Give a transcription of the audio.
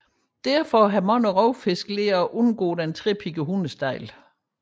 Derfor lærer mange rovfisk at undgå den trepiggede hundestejle